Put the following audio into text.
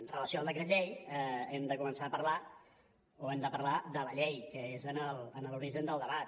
amb relació al decret llei hem de començar a parlar o hem de parlar de la llei que és en l’origen del debat